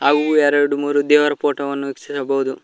ಅವು ಎರಡು ಮೂರು ದೇವರು ಫೋಟೋ ವನ್ನು ಇಟ್ಟಿರಬಹುದು.